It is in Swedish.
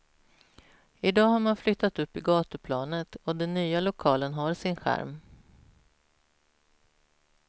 I dag har man flyttat upp i gatuplanet, och den nya lokalen har sin charm.